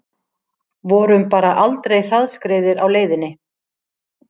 Vorum bara aldrei hraðskreiðir á leiðinni